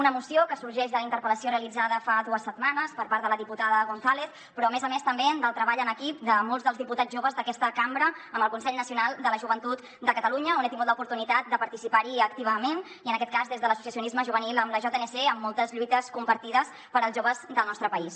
una moció que sorgeix de la interpel·lació realitzada fa dues setmanes per part de la diputada gonzález però a més a més també del treball en equip de molts dels diputats joves d’aquesta cambra amb el consell nacional de la joventut de catalunya on he tingut l’oportunitat de participar activament i en aquest cas des de l’associacionisme juvenil amb la jnc en moltes lluites compartides per als joves del nostre país